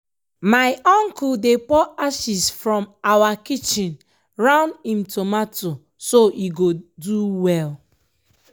planting groundnut afta millet replenishes soil wit essential nutrients